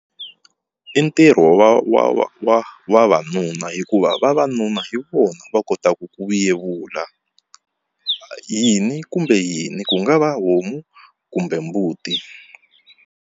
I ntirho wa wa wa wa vavanuna hikuva vavanuna hi vona va kotaka ku yevula yini kumbe yini ku nga va homu kumbe mbuti.